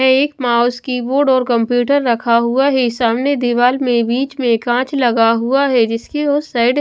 एक mouse keyboard और computer रखा हुआ है सामने दीवाल में बीच में कांच लगा हुआ है जिसकी उस साइड --